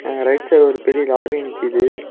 அங்க right side ஒரு பெரிய லாரி நிக்கிது.